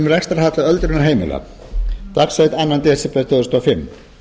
rekstrarhalla öldrunarheimila dags annars desember tvö þúsund og fimm